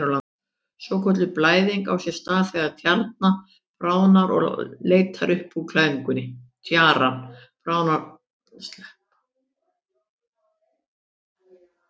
Svokölluð blæðing á sér stað þegar tjaran bráðnar og leitar upp úr klæðingunni.